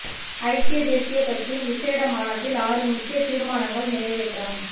ஐக்கிய தேசிய கட்சியின் விசேட மாநாட்டில் ஆறு முக்கிய தீர்மானங்கள் நிறைவேற்ற ம்